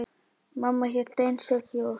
Mamma hélt einstök jól.